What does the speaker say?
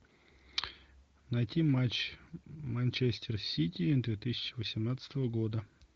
найти матч манчестер сити две тысячи восемнадцатого года